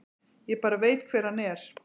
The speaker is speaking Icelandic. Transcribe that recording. Ég bara veit hver hann er.